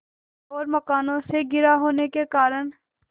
और मकानों से घिरा होने के कारण